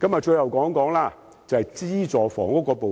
最後，我想談談資助房屋。